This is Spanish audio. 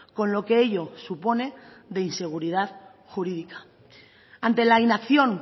con lo que ello supone de inseguridad jurídica ante la inacción